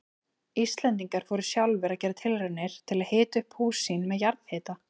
Íslendingar fóru sjálfir að gera tilraunir til að hita upp hús sín með jarðhita.